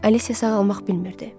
Alicia sağalmaq bilmirdi.